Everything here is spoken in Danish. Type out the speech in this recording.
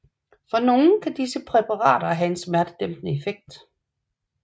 For nogle kan disse præparater have en smertedæmpende effekt